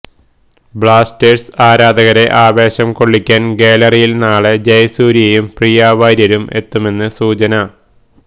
Blasters ആരാധകരെ ആവേശം കൊള്ളിക്കാന് ഗ്യാലറിയില് നാളെ ജയസൂര്യയും പ്രിയാവാര്യരും എത്തുമെന്ന് സൂചന